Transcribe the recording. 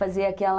Fazia aquela...